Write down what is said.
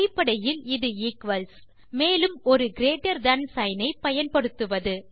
அடிப்படையில் இது ஈக்வல்ஸ் மேலும் ஒரு கிரீட்டர் தன் சிக்ன் ஐ பயன்படுத்துவது